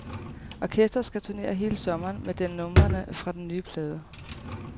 Orkestret skal turnere hele sommeren med den numrene fra den nye plade.